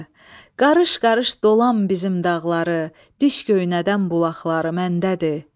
Qarış-qarış dolan bizim dağları, diş göynədən bulaqları məndədir.